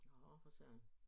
Nå for søren